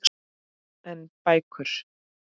En bækur?